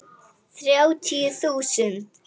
Þrjátíu þúsund!